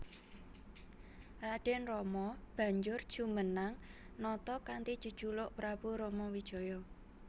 Raden Rama banjur jumenang nata kanthi jejuluk Prabu Ramawijaya